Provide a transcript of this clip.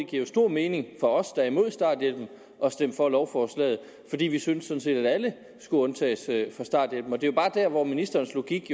giver stor mening for os der er imod starthjælpen at stemme for lovforslaget fordi vi sådan set synes at alle skulle undtages fra starthjælpen det er jo bare der hvor ministerens logik